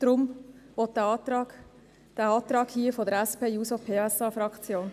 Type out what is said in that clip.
Deshalb stellt die SP-JUSO-PSA-Fraktion diesen Antrag.